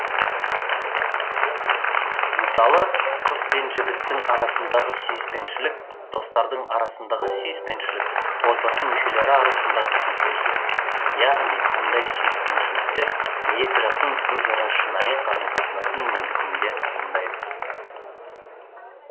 мысалы қыз бен жігіттің арасындағы сүйіспеншілік достардың арасындағы сүйіспеншілік отбасы мүшелері арасындағы сүйіспеншілік яғни мұндай сүйіспеншіліктер екі жақтың өзара шынайы қарым қатынасының негізінде туындайды